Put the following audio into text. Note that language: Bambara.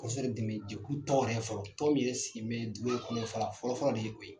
Kɔ sababu kɛ dɛmɛ jɛkulu tɔn yɛrɛ fɔlɔ tɔn min yɛrɛ sigin bɛ dugu yɛrɛ kɔnɔ a fɔlɔ fɔlɔ de ye koyi.